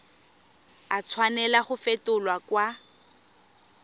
a tshwanela go fetolwa kwa